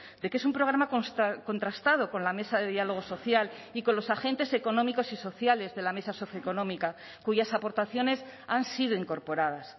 de que es un programa contrastado con la mesa de diálogo social y con los agentes económicos y sociales de la mesa socioeconómica cuyas aportaciones han sido incorporadas